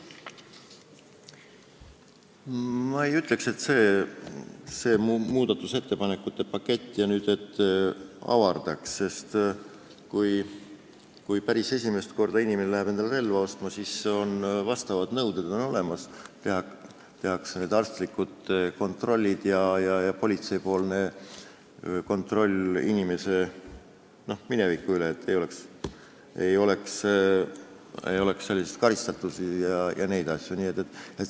Ma ei ütleks, et see muudatusettepanekute pakett nüüd seda võimalust avardaks, sest kui inimene läheb päris esimest korda relva ostma, siis on olemas vastavad nõuded: tehakse arstlik kontroll ja politsei kontrollib inimese minevikku, et tal ei oleks karistatust ega selliseid asju.